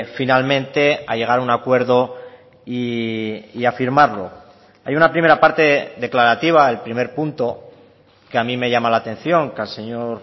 finalmente a llegar a un acuerdo y a firmarlo hay una primera parte declarativa el primer punto que a mí me llama la atención que al señor